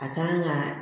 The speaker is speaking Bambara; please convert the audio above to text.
A kan ka